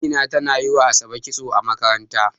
Amina tana yi wa ASabe kitso a makaranta.